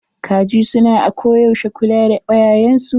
Kaji su na ako yaushe kula da kwayayen su.